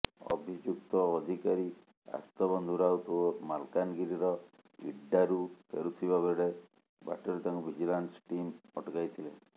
ଅଭିଯୁକ୍ତ ଅଧିକାରୀ ଆର୍ତ୍ତବନ୍ଧୁ ରାଉତ ମାଲକାନଗିରିର ଇଟ୍ଡାରୁ ଫେରୁଥିବା ବେଳେ ବାଟରେ ତାଙ୍କୁ ଭିଜିଲାନ୍ସ୍ ଟିମ୍ ଅଟକାଇ ଥିଲେ